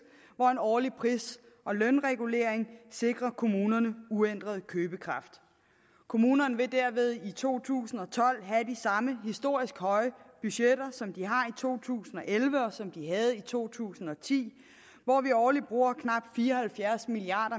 hvor en årlig pris og lønregulering sikrer kommunerne uændret købekraft kommunerne vil derved i to tusind og tolv have de samme historisk høje budgetter som de har i to tusind og elleve og som de havde i to tusind og ti hvor vi årligt bruger knap fire og halvfjerds milliard